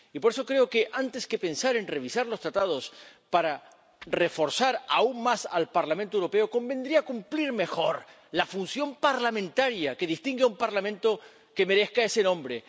Y por eso creo que, antes que pensar en revisar los Tratados para reforzar aún más al Parlamento Europeo, convendría cumplir mejor la función parlamentaria que distingue a un Parlamento que merezca ese nombre.